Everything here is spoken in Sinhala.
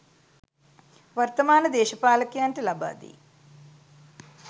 වර්තමාන දේශපාලකයන්ට ලබා දෙයි